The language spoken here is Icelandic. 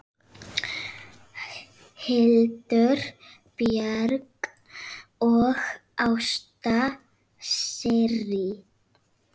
Hildur Björg og Ásta Sirrí.